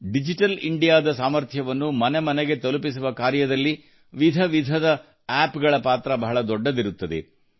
digital India ದ ಸಾಮರ್ಥ್ಯವನ್ನು ಮನೆ ಮನೆಗೆ ತಲುಪಿಸುವ ಕಾರ್ಯದಲ್ಲಿ ವಿಧ ವಿಧದ ಆಪ್ ಗಳ ಪಾತ್ರ ಬಹಳ ದೊಡ್ಡದಿರುತ್ತದೆ